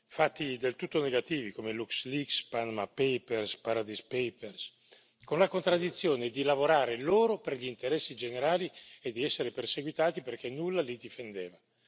fatti del tutto negativi come LuxLeaks, Panama Paper, Paradise Paper, con la contraddizione di lavorare loro per gli interessi generali e di essere perseguitati perché nulla li difendeva.